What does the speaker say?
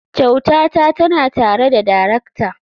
Kyautata tana tare da darakta.